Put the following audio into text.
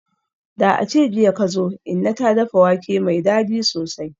Da ace jiya kazo, inna ta dafa wake mai dadi sosai.